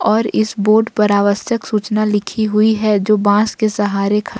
और इस बोर्ड पर आवश्यक सूचना लिखी हुई है जो बांस के सहारे--